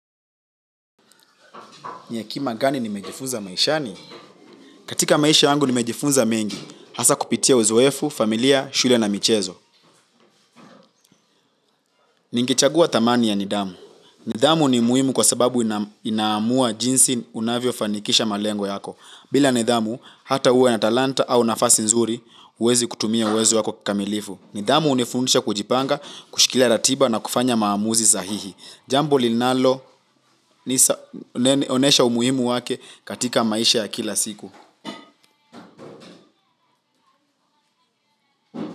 Ni hekima gani nimejifunza maishani? Katika maisha yangu nimejifunza mengi. Hasa kupitia uzoefu, familia, shule na michezo. Ningechagua dhamani ya nidhamu. Nidhamu ni muhimu kwa sababu inaamua jinsi unavyofanikisha malengo yako. Bila nidhamu, hata uwe na talanta au nafasi nzuri, huwezi kutumia uwezo wako kikamilifu. Nidhamu hunifundisha kujipanga, kushikilia ratiba na kufanya maamuzi sahihi. Jambo linalo, nionyesha umuhimu wake katika maisha ya kila siku.